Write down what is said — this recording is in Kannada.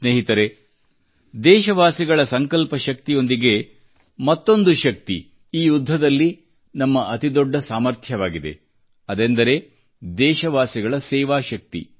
ಸ್ನೇಹಿತರೇ ದೇಶವಾಸಿಗಳ ಸಂಕಲ್ಪಶಕ್ತಿಯೊಂದಿಗೆ ಮತ್ತೊಂದು ಶಕ್ತಿ ಈ ಯುದ್ಧದಲ್ಲಿ ನಮ್ಮ ಅತಿ ದೊಡ್ಡ ಸಾಮರ್ಥವಾಗಿದೆ ಅದೆಂದರೆ ದೇಶವಾಸಿಗಳ ಸೇವಾಶಕ್ತಿ